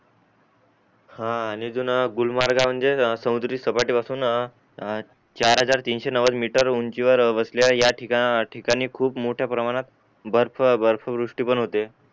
हा आणि अजून गुलमार्गा म्हणजे साऊंदरी सपाटी पासून ए ए चार हजार तीनशे नवद्य मीटर उंची वेळ वसलेल्या या ठिकाणी खुप मोठ्या प्रमाणात बर्फ बर्फ वृष्टी पण होते